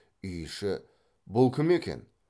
үй іші бұл кім екен